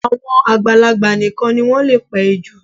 Àwọn àgbàlagbà nìkan ni wọ́n lè pa ejò